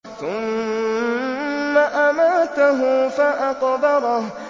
ثُمَّ أَمَاتَهُ فَأَقْبَرَهُ